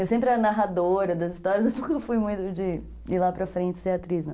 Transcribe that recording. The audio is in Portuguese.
Eu sempre era narradora das histórias, eu nunca fui muito de ir lá para frente ser atriz, não.